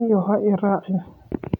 Nin yahow ha i raacin.